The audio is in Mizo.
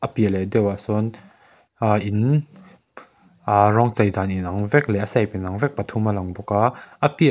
a piah leh deuhah sawn aaa in aa rawng chei dan inang vek leh a shape inang vek pathum a lang bawk a a piah leh --